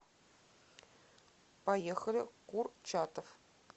поехали курчатов